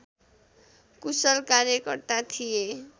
कुशल कार्यकर्ता थिए